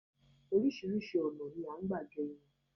Oríṣiríṣi ọ̀nà ni a ń gbà gẹ irun